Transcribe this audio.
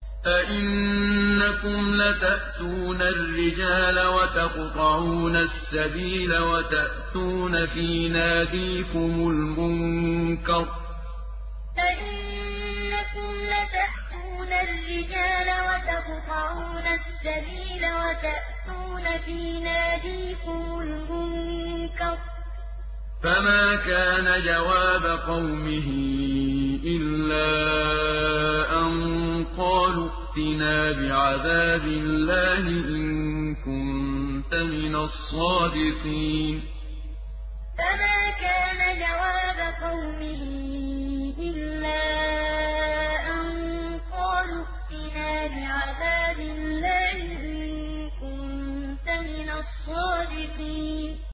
أَئِنَّكُمْ لَتَأْتُونَ الرِّجَالَ وَتَقْطَعُونَ السَّبِيلَ وَتَأْتُونَ فِي نَادِيكُمُ الْمُنكَرَ ۖ فَمَا كَانَ جَوَابَ قَوْمِهِ إِلَّا أَن قَالُوا ائْتِنَا بِعَذَابِ اللَّهِ إِن كُنتَ مِنَ الصَّادِقِينَ أَئِنَّكُمْ لَتَأْتُونَ الرِّجَالَ وَتَقْطَعُونَ السَّبِيلَ وَتَأْتُونَ فِي نَادِيكُمُ الْمُنكَرَ ۖ فَمَا كَانَ جَوَابَ قَوْمِهِ إِلَّا أَن قَالُوا ائْتِنَا بِعَذَابِ اللَّهِ إِن كُنتَ مِنَ الصَّادِقِينَ